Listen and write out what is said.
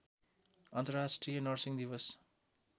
अन्तर्राष्ट्रिय नर्सिङ दिवस